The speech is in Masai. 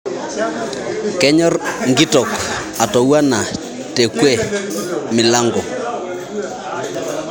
kenyor nkitok atowuana tekwe milango